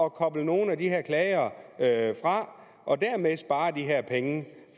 at koble nogle af de her klagere fra og dermed spare de penge